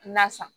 Na san